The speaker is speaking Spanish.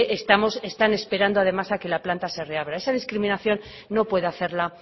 están esperando además a que la planta se reabra esa discriminación no puede hacerla